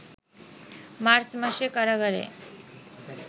March মাসে কারাগারে